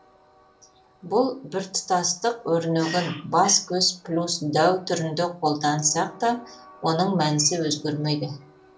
бұл біртұтастық өрнегін бас көз плюс дәу түрінде қолдансақ та оның мәнісі өзгермейді